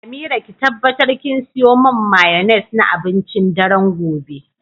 Amira ki tabbatar kin siyo man mayoinesse na abincin daren gobe.